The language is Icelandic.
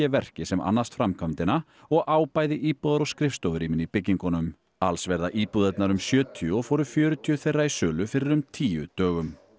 verki sem annast framkvæmdina og á bæði íbúðar og skrifstofurýmin í byggingunum alls verða íbúðirnar um sjötíu og fóru fjörutíu þeirra í sölu fyrir um tíu dögum